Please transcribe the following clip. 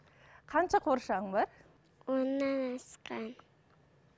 қанша қуыршағың бар оннан асқан